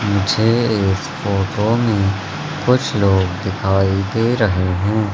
मुझे इस फोटो मे कुछ लोग दिखाई दे रहे है।